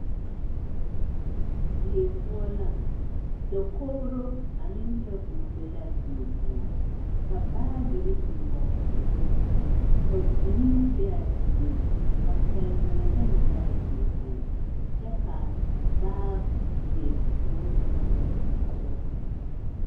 Die poɔ la, dakogiro ane teebol be l'a die poɔ ka baagiri biŋ kɔge a dakogi kaŋ, ka vūū be a dieŋ, ka pɛnnoo bone be a die poɔ kyɛ ka baagi boŋkaŋa dɔgele a teebol zu.